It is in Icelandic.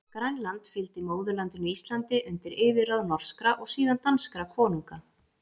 Grænland fylgdi móðurlandinu Íslandi undir yfirráð norskra, og síðan danskra konunga.